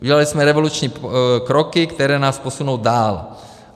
Udělali jsme revoluční kroky, které nás posunou dál.